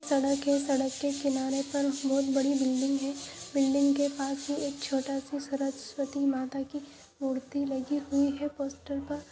सड़क के सड़क के किनारे पर बहुत बड़ी बिल्डिंग है बिल्डिंग के पास ही एक छोटा सा सरस्वती माता की मूर्ति लगी हुई है पोस्टर पर।